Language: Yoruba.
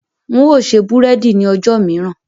N ó ṣe búrẹ́dì ni ọjọ́ mìíràn.